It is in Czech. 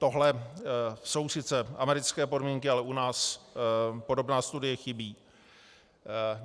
Tohle jsou sice americké podmínky, ale u nás podobná studie chybí.